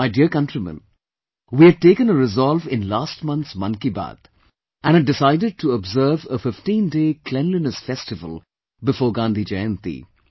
My dear countrymen, we had taken a resolve in last month's Mann Ki Baat and had decided to observe a 15day Cleanliness Festival before Gandhi Jayanti